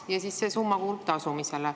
Ja siis see summa kuulub tasumisele.